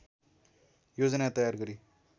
योजना तयार गरी